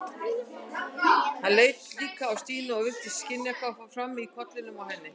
Hann leit líka á Stínu og virtist skynja hvað fór fram í kollinum á henni.